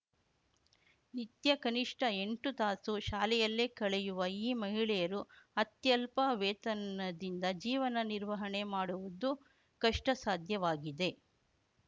ನಿತ್ಯ ಕನಿಷ್ಠ ಎಂಟು ತಾಸು ಶಾಲೆಯಲ್ಲೇ ಕಳೆಯುವ ಈ ಮಹಿಳೆಯರು ಅತ್ಯಲ್ಪ ವೇತನದಿಂದ ಜೀವನ ನಿರ್ವಹಣೆ ಮಾಡುವುದು ಕಷ್ಟಸಾಧ್ಯವಾಗಿದೆ